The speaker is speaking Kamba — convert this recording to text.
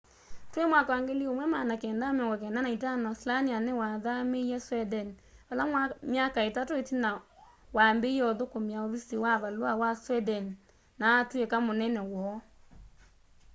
twi 1995 slania niwathamiie sweden vala myaka itatu itina wambiie uthukumia uvisi wa valua wa sweden na atwika munene woo